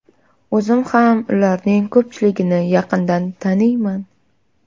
O‘zim ham ularning ko‘pchiligini yaqindan taniyman.